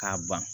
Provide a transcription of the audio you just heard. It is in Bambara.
K'a ban